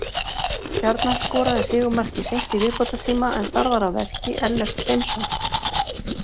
Stjarnan skoraði sigurmarkið seint í viðbótartíma en þar var að verki Ellert Hreinsson.